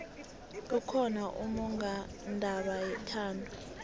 kukhona ummongondaba yethando